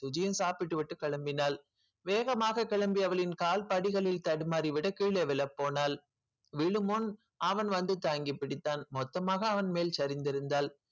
சுஜியும் சாப்பிட்டுவிட்டு கிளம்பினாள் வேகமாக கிளம்பி அவளின் கால் படிகளில் தடுமாறி விட கீழே விழப்போனாள் விழும் முன் அவன் வந்து தாங்கி பிடித்தான் மொத்தமாக அவன் மேல் சரிந்திருந்தாள்